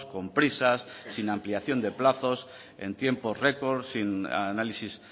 con prisas sin ampliación de plazos en tiempo record sin análisis